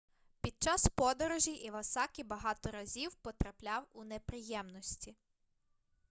під час подорожі івасакі багато разів потрапляв у неприємності